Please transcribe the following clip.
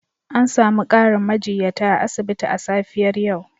An sami ƙarin majiyyata a asibiti a safiyar yau.